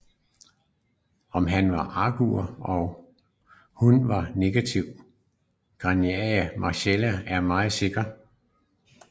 Om han var augur og hun var navngivet Grania Marcella er mindre sikkert